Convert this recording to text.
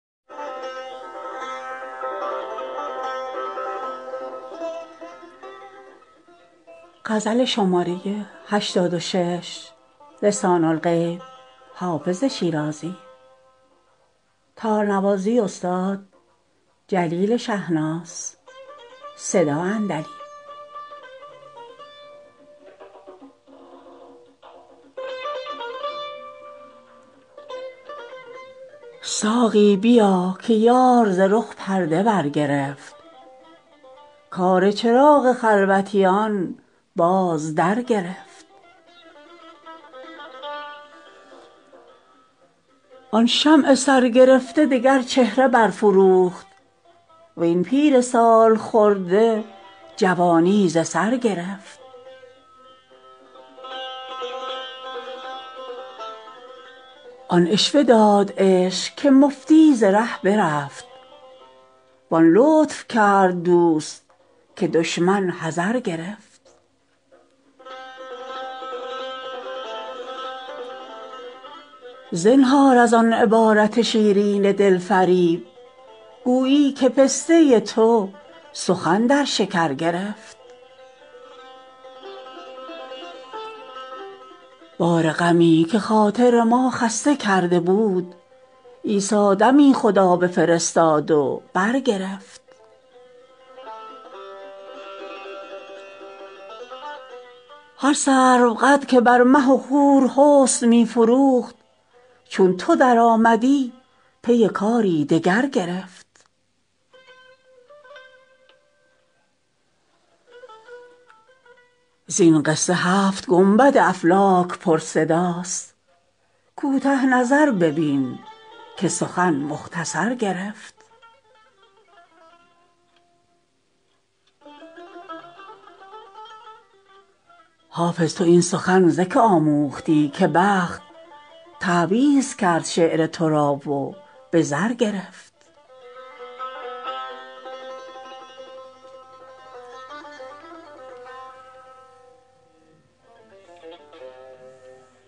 ساقی بیا که یار ز رخ پرده برگرفت کار چراغ خلوتیان باز درگرفت آن شمع سرگرفته دگر چهره برفروخت وین پیر سال خورده جوانی ز سر گرفت آن عشوه داد عشق که مفتی ز ره برفت وان لطف کرد دوست که دشمن حذر گرفت زنهار از آن عبارت شیرین دل فریب گویی که پسته تو سخن در شکر گرفت بار غمی که خاطر ما خسته کرده بود عیسی دمی خدا بفرستاد و برگرفت هر سروقد که بر مه و خور حسن می فروخت چون تو درآمدی پی کاری دگر گرفت زین قصه هفت گنبد افلاک پرصداست کوته نظر ببین که سخن مختصر گرفت حافظ تو این سخن ز که آموختی که بخت تعویذ کرد شعر تو را و به زر گرفت